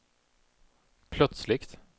plötsligt